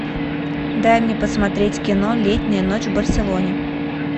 дай мне посмотреть кино летняя ночь в барселоне